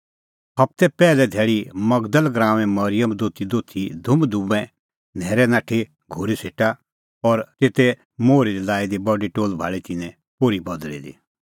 हबते पैहली धैल़ी मगदल़ गराऊंए मरिअम दोतीदोथी धुंमधुंमै न्हैरै नाठी घोरी सेटा और तेते मोहरै दी लाई दी बडी टोल्ह भाल़ी तिन्नैं पोर्ही बदल़ी दी